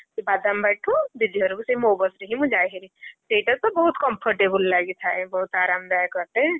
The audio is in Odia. ସେ ବାଦାମବାଡିଠୁ ଦିଦି ଘରକୁ ସେଇ ମୋ ବସ ରେ ହିଁ ମୁଁ ଯାଏ ଭାରି ସେଇଟା ତ ବହୁତ୍ comfortable ଲାଗିଥାଏ, ବହୁତ୍ ଆରମଦାୟକ ଅଟେ।